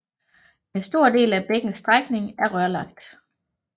En stor del af bækkens strækning er rørlagt